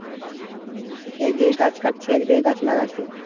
একদিকে গাছ কাটছে একদিকে গাছ লাগাচ্ছে।